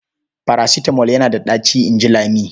"Farasitamol yana da ɗaci", in ji Lami.